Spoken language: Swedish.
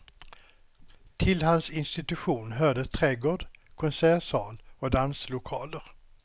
Till hans institution hörde trädgård, konsertsal och danslokaler.